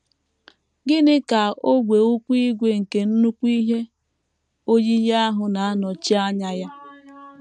Gịnị ka ogwe ụkwụ ígwè nke nnukwu ihe oyiyi ahụ na - anọchi anya ya?